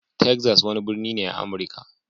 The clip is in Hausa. Texas wani birni ne a Amurka.